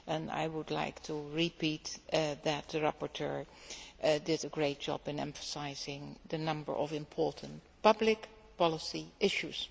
I would like to repeat that the rapporteur did a great job in emphasising the number of important public policy issues.